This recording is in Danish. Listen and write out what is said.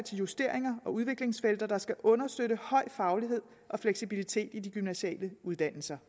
til justeringer og udviklingsfelter der skal understøtte høj faglighed og fleksibilitet i de gymnasiale uddannelser